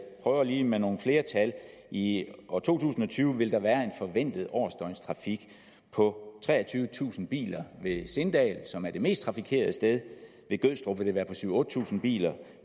prøver lige med nogle flere tal i år to tusind og tyve vil der være en forventet årsdøgnstrafik på treogtyvetusind biler ved sindal som er det mest trafikerede sted ved gødstrup vil det være på syv tusind otte tusind biler